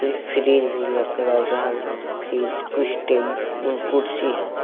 Fridge भी लग लगा हुआ फ्रिज कुछ अह कुर्सी है।